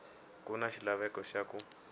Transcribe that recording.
ku na xilaveko xa ku